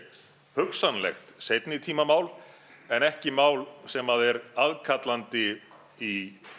hugsanlegt seinni tíma mál en ekki mál sem að er aðkallandi í